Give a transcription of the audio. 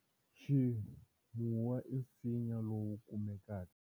Ximuwu i nsinya lowu kumekaka.